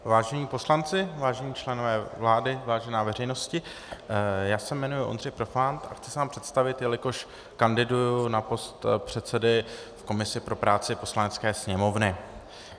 Vážení poslanci, vážení členové vlády, vážená veřejnosti, já se jmenuji Ondřej Profant a chci se vám představit, jelikož kandiduji na post předsedy v komisi pro práci Poslanecké sněmovny.